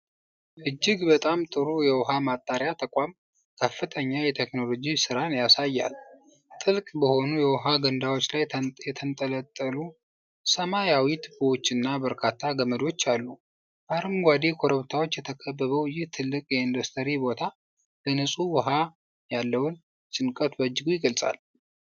እጅግ በጣም ጥሩ የውሃ ማጣሪያ ተቋም ከፍተኛ የቴክኖሎጂ ሥራን ያሳያል። ጥልቅ በሆኑ የውሃ ገንዳዎች ላይ የተንጠለጠሉ ሰማያዊ ቱቦዎችና በርካታ ገመዶች አሉ። በአረንጓዴ ኮረብታዎች የተከበበው ይህ ትልቅ የኢንዱስትሪ ቦታ ለንጹህ ውሃ ያለውን ጭንቀት በእጅጉ ይቀንሳል።